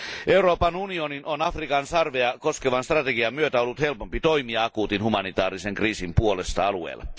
Euroopan unionin on Afrikan sarvea koskevan strategian myötä ollut helpompi toimia akuutin humanitaarisen kriisin puolesta alueella.